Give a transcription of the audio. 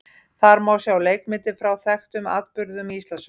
Þar má sjá leikmyndir frá þekktum atburðum í Íslandssögunni.